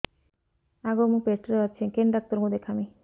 ଆଗୋ ମୁଁ ପେଟରେ ଅଛେ କେନ୍ ଡାକ୍ତର କୁ ଦେଖାମି